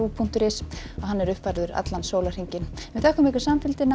punktur is er uppfærður allan sólarhringinn takk fyrir samfylgdina